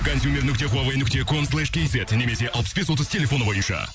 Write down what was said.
консьемер нүкте хуавей нүкте ком слэш кейзет немесе алпыс бес отыз телефоны бойынша